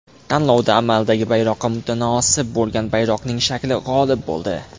Tanlovda amaldagi bayroqqa mutanosib bo‘lgan bayroqning shakli g‘olib bo‘ldi.